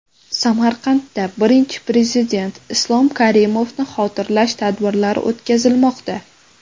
Samarqandda Birinchi Prezident Islom Karimovni xotirlash tadbirlari o‘tkazilmoqda.